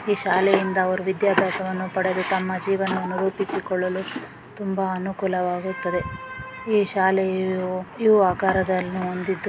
ಈ ಶಾಲೆಯಿಂದ ಅವರು ವಿದ್ಯಾಭ್ಯಾಸವನ್ನು ಪಡೆದು ತಮ್ಮ ಜೀವನವನ್ನು ರೂಪಿಸಿಕೊಳ್ಳಲು ತುಂಬಾ ಅನುಕೂಲವಾಗುತ್ತದೆ. ಈ ಶಾಲೆಯೂ ಇವು ಆಕಾರ ಹೊಂದಿದ್ದು--